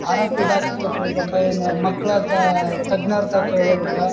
ಆರರ ಪಿಡಾಕೃತ ಹೋಗಬೇಕಾರೇ ಮಕ್ಕಳತ್ ತಜ್ಞರ ಹತ್ರ ಕೇಳೆಬೇಕ.